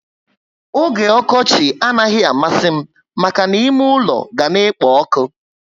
Ógè okochi anaghị amasi m maka ná ime ule ga na ekpo ọkụ